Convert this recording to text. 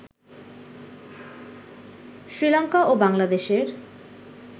শ্রীলংকা ও বাংলাদেশের